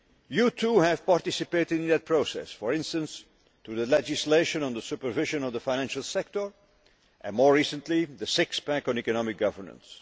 You too have participated in that process, for instance through the legislation on the supervision of the financial sector and, more recently, the six pack' on economic governance.